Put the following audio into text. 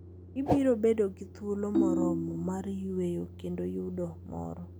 Ibiro bedo gi thuolo moromo mar yueyo kendo yudo mor.